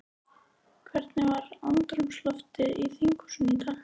Hvernig var andrúmsloftið í þinghúsinu í dag?